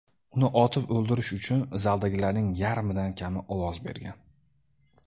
Uni otib o‘ldirish uchun zaldagilarning yarmidan kami ovoz bergan.